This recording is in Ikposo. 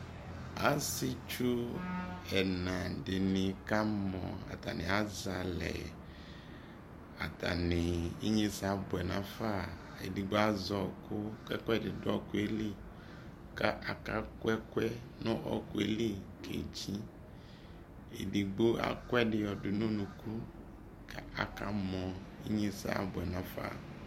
asietsu ɛna di ni kamɔ, atane azɛ alɛ atane inyese aboɛ no afa edigbo azɛ ɔko ko ɛkuedi do ɔkuɛ li ko aka ku ɛkuɛ no ɔkuɛ li kedzi edigbo aku ɛdi ɔdo no unuku ko aka mɔ, inyese aboɛ no afa